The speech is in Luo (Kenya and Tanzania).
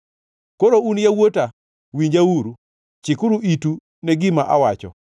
Koro un yawuota winjauru, chikuru itu ne gima awacho.